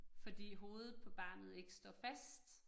Fordi hovedet på barnet ikke står fast